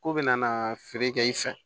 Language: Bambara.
Ko be na feere kɛ i fɛ